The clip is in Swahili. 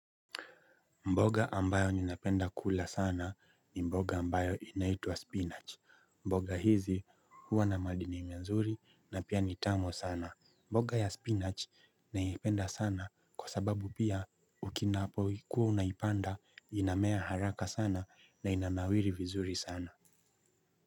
Mboga ambayo ninapenda kula sana ni mboga ambayo inaitwa spinach, mboga hizi huwa na madini mazuri na pia ni tamu sana, mboga ya spinach naipenda sana kwa sababu pia unapokuwa unaipanda inamea haraka sana na inanawiri vizuri sana.